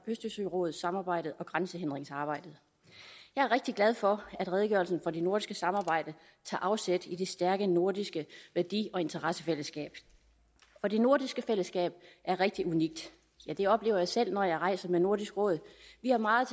østersørådssamarbejdet og om grænsehindringsarbejdet jeg er rigtig glad for at redegørelsen om det nordiske samarbejde tager afsæt i det stærke nordiske værdi og interessefællesskab og det nordiske fællesskab er rigtig unikt ja det oplever jeg selv når jeg rejser med nordisk råd vi har meget